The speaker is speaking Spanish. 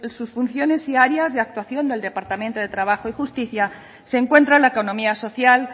sus funciones diarias y actuación del departamento de trabajo y justicia se encuentra la economía social